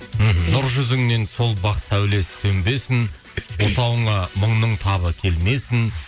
мхм нұр жүзіңнен сол бақ сәуле сөнбесін отауыңа мұңның табы келмесін